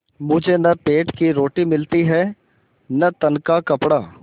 मुझे न पेट की रोटी मिलती है न तन का कपड़ा